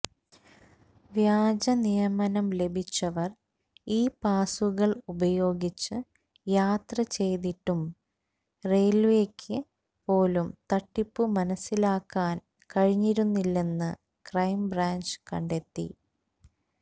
വ്യാജനിയമനം ലഭിച്ചവര് ഈ പാസുകള് ഉപയോഗിച്ച് യാത്ര ചെയ്തിട്ടും റയില്വേക്ക് പോലും തട്ടിപ്പു മനസ്സിലാക്കാന് കഴിഞ്ഞിരുന്നില്ലെന്ന് ക്രൈം ബ്രാഞ്ച് കണ്ടെത്തി